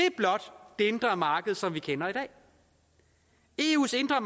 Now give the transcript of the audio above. indre marked som vi kender i dag eus indre